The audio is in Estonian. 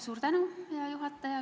Suur tänu, hea juhataja!